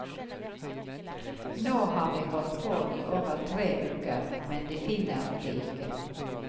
Nå har de holdt på i over tre uker, men de finner det ikke.